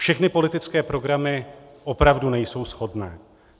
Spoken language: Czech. Všechny politické programy opravdu nejsou shodné.